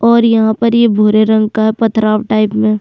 और यहाँ पर ये भूरे रंग का पत्थराव टाइप में।